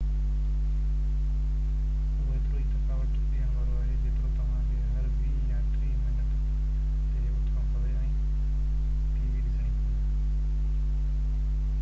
اهو ايترو ئي ٿڪاوٽ ڏيڻ وارو آهي جيترو توهان کي هر ويهہ يا ٽيهہ منت تي اٿڻو پوي ۽ ٽي وي ڏسڻي پوي